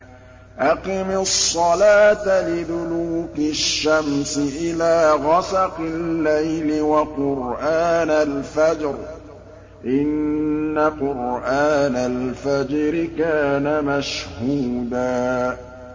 أَقِمِ الصَّلَاةَ لِدُلُوكِ الشَّمْسِ إِلَىٰ غَسَقِ اللَّيْلِ وَقُرْآنَ الْفَجْرِ ۖ إِنَّ قُرْآنَ الْفَجْرِ كَانَ مَشْهُودًا